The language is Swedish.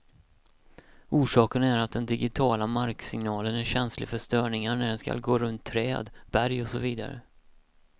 Orsaken är att den digitiala marksignalen är känslig för störningar när den skall gå runt träd, berg och så vidare.